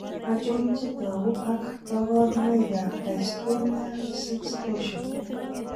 Achon chetogu ak kaborunoik ab Dystonia 6 torsion?